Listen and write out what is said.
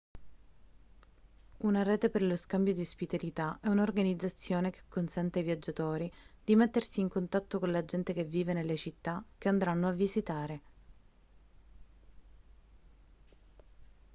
una rete per lo scambio di ospitalità è un'organizzazione che consente ai viaggiatori di mettersi in contatto con la gente che vive nelle città che andranno a visitare